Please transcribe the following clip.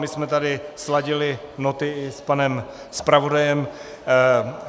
My jsme tady sladili noty i s panem zpravodajem.